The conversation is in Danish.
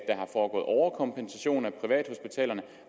er foregået overkompensation af privathospitalerne